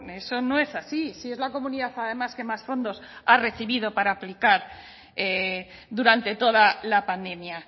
eso no es así si es la comunidad además que más fondos ha recibido para aplicar durante toda la pandemia